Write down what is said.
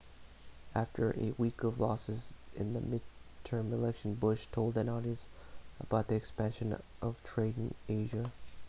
after a week of losses in the midterm election bush told an audience about the expansion of trade in asia